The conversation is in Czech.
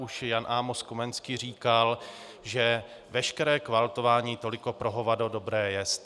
Už Jan Amos Komenský říkal, že veškeré kvaltování toliko pro hovado dobré jest.